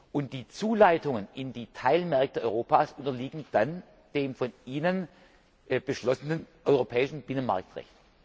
Und die Zuleitungen in die Teilmärkte Europas unterliegen dann dem von Ihnen beschlossenen europäischen Binnenmarktrecht.